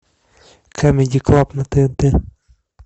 камеди клаб на тнт